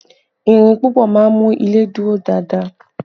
Ìrìn púpọ̀ máa ń mú ilé dúró dáadáa